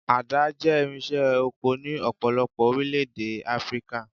Àdá jẹ́ irinṣẹ́ oko ní ọ̀pọ̀lọpọ̀ orílẹ̀-èdè Áfríkà.